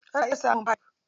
Ana iya samun fif.